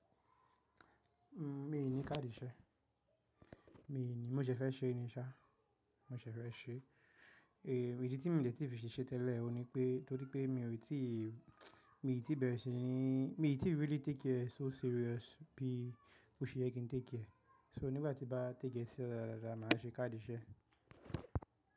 Mí ì ní káàdì ìṣe, mí ì ní, mo ṣe fẹ́ ṣe ní ṣá, mo ṣe fẹ́ ṣe. È ìdí tí mí ò tí ì fi ṣe ṣẹe tẹ́lẹ̀ òun ní pé, torí pé mí ò tí ì, mí ò tí ì bẹ̀rẹ̀ sí ní, mí ò tí ì really teèki ẹ̀ so serious bí ó ṣe yẹ kí n téèki ẹ̀. So nígbàtí mo bá teèki ẹ̀ siriọ̀ọ́ dáadáa, màá ṣe káàdì ìṣe.